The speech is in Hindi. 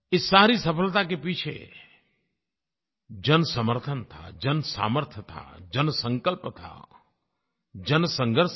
इस सारी सफलता के पीछे जनसमर्थन था जनसामर्थ्य थी जनसंकल्प था जनसंघर्ष था